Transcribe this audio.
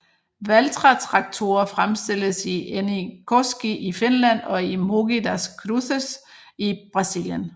Valtra traktorer fremstilles i Äänekoski i Finland og i Mogi das Cruzes i Brasilien